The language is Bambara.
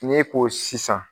N'e ko sisan